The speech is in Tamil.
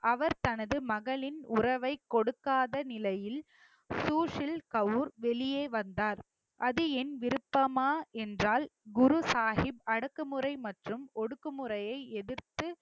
அவர் தனது மகளின் உறவைக் கொடுக்காத நிலையில் சூசில் கவுர் வெளியே வந்தார் அது என் விருப்பமா என்றால் குரு சாஹிப் அடக்குமுறை மற்றும் ஒடுக்குமுறையை எதிர்த்து